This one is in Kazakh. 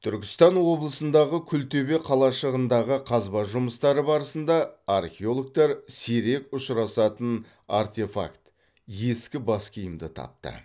түркістан облысындағы күлтөбе қалашығындағы қазба жұмыстары барысында археологтар сирек ұшырасатын артефакт ескі бас киімді тапты